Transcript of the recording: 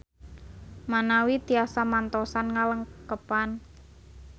Manawi tiasa mantosan ngalengkepan.